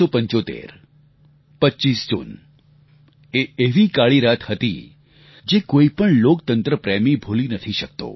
1975 25 જૂન એ એવી કાળી રાત હતી જે કોઈપણ લોકતંત્ર પ્રેમી ભૂલી નથી શકતો